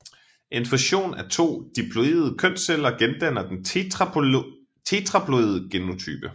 En fusion af to diploide kønsceller gendanner den tetraploide genotype